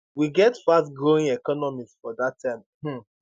wey get fastgrowing economies for dat time um